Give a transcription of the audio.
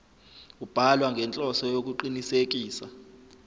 ubhalwa ngenhloso yokuqinisekisa